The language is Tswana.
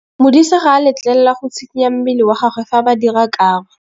Modise ga a letlelelwa go tshikinya mmele wa gagwe fa ba dira karô.